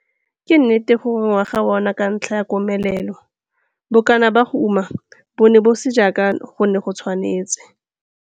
Ke nnete gore ngwaga ona ka ntlha ya komelelo, bokana ba go uma bo ne bo se jaaka go ne go tshwanetse.